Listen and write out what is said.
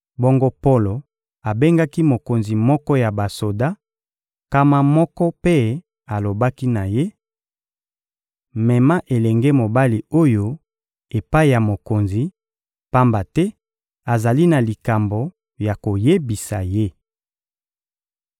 Bongo Polo abengaki mokonzi moko ya basoda nkama moko mpe alobaki na ye: — Mema elenge mobali oyo epai ya mokonzi, pamba te azali na likambo ya koyebisa ye.